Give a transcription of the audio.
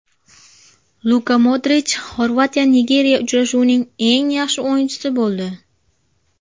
Luka Modrich XorvatiyaNigeriya uchrashuvining eng yaxshi o‘yinchisi bo‘ldi.